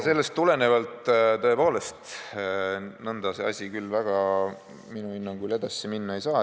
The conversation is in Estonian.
Sellest tulenevalt, tõepoolest, nõnda see asi küll minu hinnangul edasi minna ei saa.